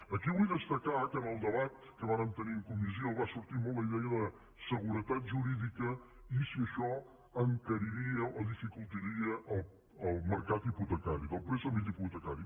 aquí vull destacar que en el debat que vàrem tenir en comissió va sortir molt la idea de seguretat jurídica i si això encariria o dificultaria el mercat hipotecari del préstec hipotecari